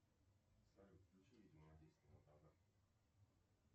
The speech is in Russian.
салют включи видео на десять минут назад